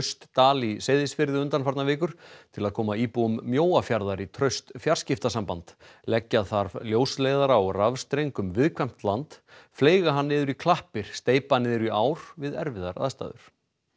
Austdal í Seyðisfirði undanfarnar vikur til að koma íbúum Mjóafjarðar í traust fjarskiptasamband leggja þarf ljósleiðara og rafstreng um viðkvæmt land fleyga hann niður í klappir steypa niður í ár við erfiðar aðstæður